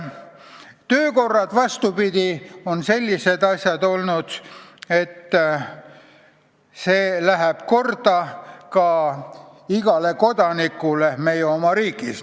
Töökorrad, vastupidi, on olnud sellised seadused, mis lähevad korda ka igale kodanikule riigis.